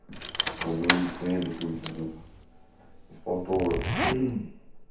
разводить хуйню какую-то вот эту беспонтовую